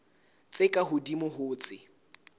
tse ka hodimo ho tse